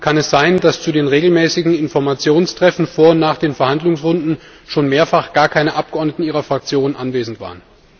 Und kann es sein, dass zu den regelmäßigen Informationstreffen vor und nach den Verhandlungsrunden schon mehrfach gar keine Abgeordneten Ihrer Fraktion anwesend waren?